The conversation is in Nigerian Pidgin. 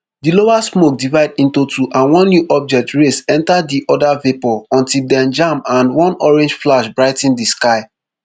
di lower smoke divide into two and one new object race enta di oda vapour until dem jam and one orange flash brigh ten di sky